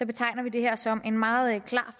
betegner vi det her som en meget klar